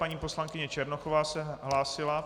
Paní poslankyně Černochová se hlásila.